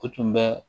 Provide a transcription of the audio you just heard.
O tun bɛ